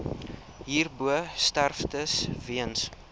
hierbo sterftes weens